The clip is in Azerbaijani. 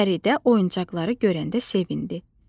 Fəridə oyuncaqları görəndə sevindi.